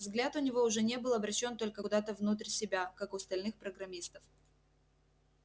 взгляд у него уже не был обращён только куда-то внутрь себя как у остальных программистов